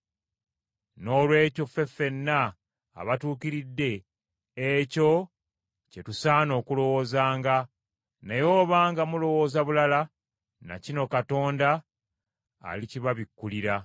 Noolwekyo ffe ffenna abatuukiridde ekyo kye tusaana okulowoozanga, naye obanga mulowooza bulala, na kino Katonda alikibabikkulira.